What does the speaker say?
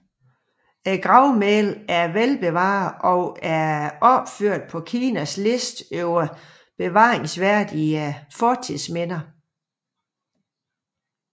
Gravmælet er velbevaret og er opført på Kinas liste over bevaringsværdige fortidsminder